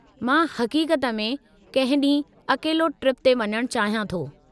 मां हक़ीक़त में कंहिं ॾींहुं अकेलो ट्रिप ते वञणु चाहियां थो।